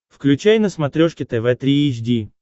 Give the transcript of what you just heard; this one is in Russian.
включай на смотрешке тв три эйч ди